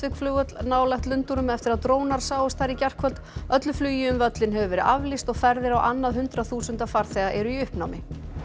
flugvöll nálægt Lundúnum eftir að drónar sáust þar í gærkvöld öllu flugi um völlinn hefur verið aflýst og ferðir á annað hundrað þúsunda farþega eru í uppnámi